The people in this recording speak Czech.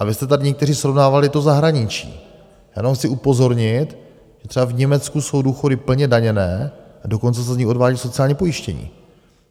A vy jste tady někteří srovnávali to zahraničí, já jenom chci upozornit, že třeba v Německu jsou důchody plně daněné a dokonce se z nich odvádí sociální pojištění.